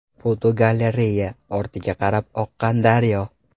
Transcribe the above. Fotogalereya: Ortiga qarab oqqan daryo .